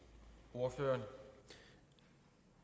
og